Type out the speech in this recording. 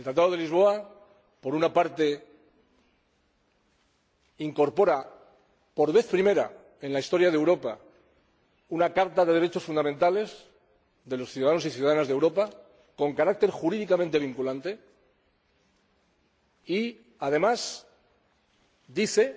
El Tratado de Lisboa, por una parte, incorpora por vez primera en la historia de Europa una Carta de los Derechos Fundamentales de los ciudadanos y ciudadanas de Europa, con carácter jurídicamente vinculante, y, además, dice